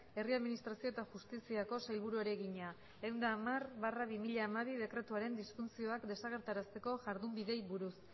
herri administrazio eta justiziako sailburuari egina ehun eta hamar barra bi mila hamabi dekretuaren disfuntzioak desagerrarazteko jardunbideei buruz